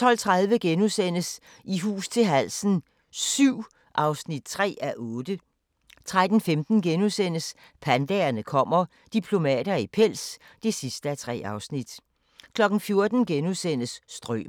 12:30: I hus til halsen VII (3:8)* 13:15: Pandaerne kommer – diplomater i pels (3:3)* 14:00: Strømer *